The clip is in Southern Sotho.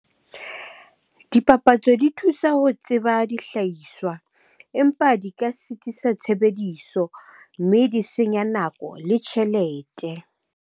Dipapatso di thusa ho tseba dihlahiswa empa di ka sitisa tshebediso mme di senya nako le tjhelete.